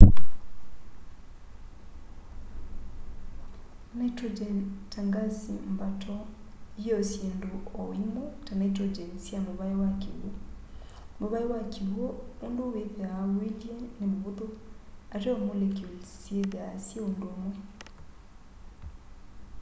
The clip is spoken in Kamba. nitrogen ta ngasi mbato yio syindu o imwe ta nitrogen sya muvai wa kiw'u muvai wa kiw'u undu withwaa uilye ni muvuthu ateo molecules syithwaa syi undumwe